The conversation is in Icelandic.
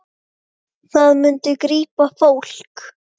Það myndi grípa fólk.